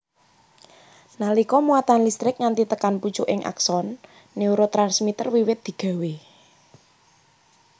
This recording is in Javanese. Nalika muatan listrik nganti tekan pucuking akson neurotransmiter wiwit digawé